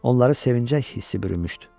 Onları sevincək hissi bürümüşdü.